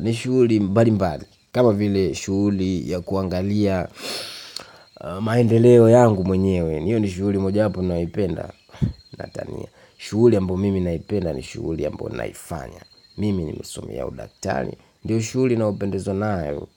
ni shuli mbali mbali kama vile shuli ya kuangalia maendeleo yangu mwenyewe. Niyo ni shuli moja wapo naipenda. Natania shuli ambayo mimi naipenda ni shuli ambayo naifanya mimi nimesomea udaktari ndiyo shuli nayopendezwa nayo.